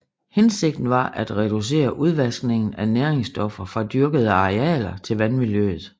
Hensigten var at at reducere udvaskningen af næringsstoffer fra dyrkede arealer til vandmiljøet